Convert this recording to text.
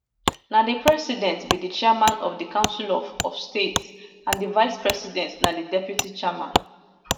na di president be di chairman of di council of of state and di vicepresident na di deputy chairman